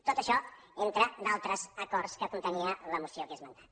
tot això entre d’altres acords que contenia la moció que he esmentat